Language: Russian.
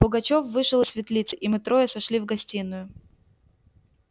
пугачёв вышел из светлицы и мы трое сошли в гостиную